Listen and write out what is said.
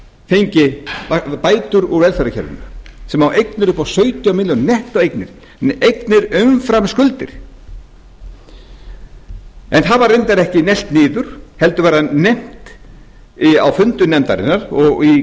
fengi bætur úr velferðarkerfinu sem á eignir upp á sautján milljónir nettóeignir eignir umfram skuldir það var reyndar ekki neglt niður heldur var það nefnt á fundum nefndarinnar og í